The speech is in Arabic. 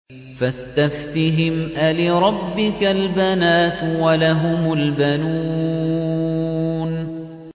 فَاسْتَفْتِهِمْ أَلِرَبِّكَ الْبَنَاتُ وَلَهُمُ الْبَنُونَ